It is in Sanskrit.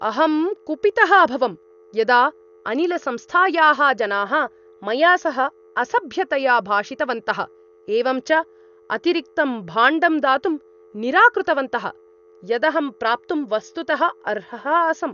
अहं कुपितः अभवम् यदा अनिलसंस्थायाः जनाः मया सह असभ्यतया भाषितवन्तः । एवं च अतिरिक्तं भाण्डं दातुं निराकृतवन्तः । यदहं प्राप्तुं वस्तुतः अर्हः आसम् ।